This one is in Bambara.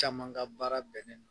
Caman ka baara bɛɛƐ